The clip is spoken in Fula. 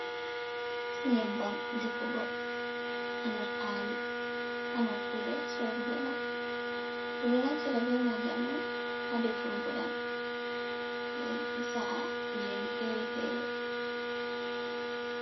Nyebbam defugo ha nder pali ha nokkure sorugo ɗam. Ɗo naftira be maajam on ha defurgo ɗam, nden sa’a kujeji fere-fere.